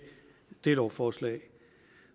det lovforslag